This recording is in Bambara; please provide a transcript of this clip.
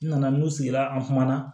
N nana n'u sigira an kuma na